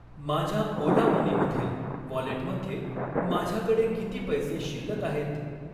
माझ्या Ola money मधील वॉलेटमध्ये माझ्याकडे किती पैसे शिल्लक आहेत?